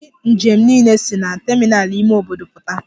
Ndi njem niile si na terminal ime obodo puta.